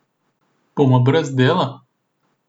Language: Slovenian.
Bomo brez dela?